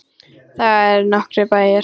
Þar eru nokkrir bæir.